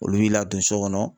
Olu b'i ladon so kɔnɔ